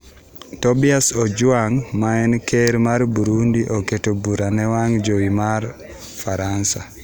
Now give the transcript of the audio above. Tobias Ojwang maen Ker mar Burundi oketo bura ne wang jowi mar Faransa